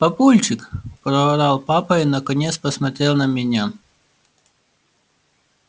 папульчик проорал папа и наконец посмотрел на меня